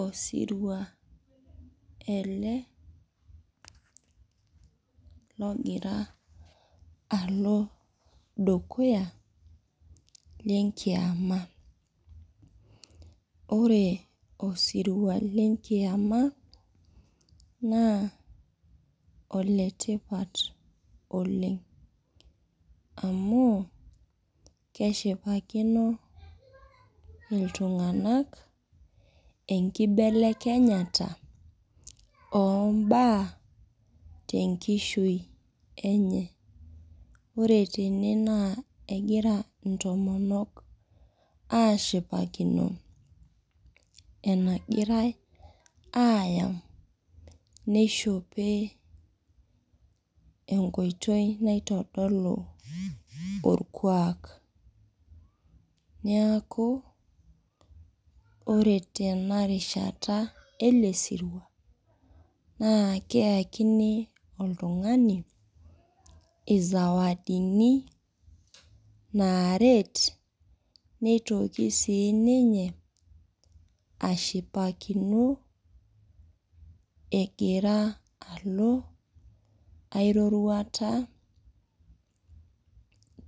Osirua ele ogira alo dukuya lenkiama. Ore osirua lenkiama naa letipat oleng amuu keshipakino iltunganak enkibelekenyata oombaa tenkishui enye. Ore tene negira intomonok aashipakino enagirai ayama neishope tenkoitoi naitodolu orkuak. Neaku ore tena rishata ele sirua neyakini oltungani isawadini naarenet. Nagira siininye ashipakino egira alo ai roruata